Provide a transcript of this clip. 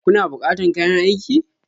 Kuna bukatan kayan aiki?